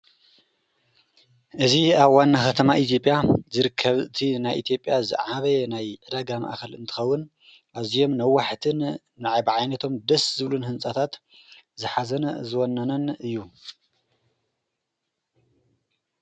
እዝ ኣብ ዋና ኸተማ ኢትዮጵያ ዝርከብቲ ናይ ኢቲጴያ ዝዓበየ ናይ ዕደጋም ኣኸል እንትኸውን ኣዙየም ንዋሕትን ንኣይ ብዓይነቶም ደስ ዝብሉን ሕንጻታት ዝኃዘን ዝወነነን እዩ